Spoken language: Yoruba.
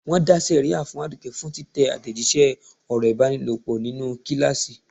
Wọn dá sẹ̀ríà fún Aduke fún títẹ àtẹ̀jíṣẹ́ ọ̀rọ̀ ìbálòpọ̀ nínú kíláàsì.